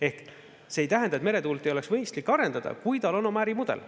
Ehk see ei tähenda, et meretuult ei oleks mõistlik arendada, kui tal on oma ärimudel.